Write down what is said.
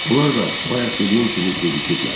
Onlar da bayaq dediyim kimi gecikiblər.